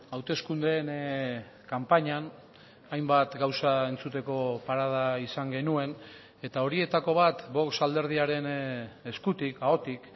hauteskundeen kanpainan hainbat gauza entzuteko parada izan genuen eta horietako bat vox alderdiaren eskutik ahotik